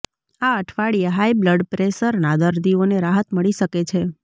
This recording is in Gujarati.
આ અઠવાડિયે હાઈ બ્લ્ડ પ્રેશરના દર્દીઓને રાહત મળી શકે છે